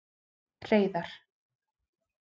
Hreiðar